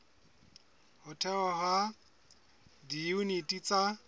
ho thehwa ha diyuniti tsa